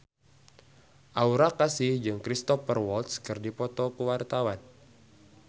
Aura Kasih jeung Cristhoper Waltz keur dipoto ku wartawan